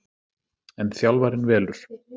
En þjálfarinn velur